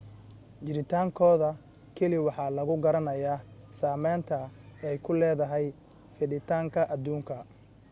jiritaankooda keliya waxa lagu garanayaa saameynta ay ku leedahay fiditaanka adduunka